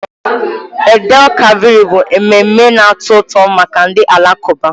Eid_el Kabir bụ mmemme na-atọ ụtọ maka ndị Alakụba.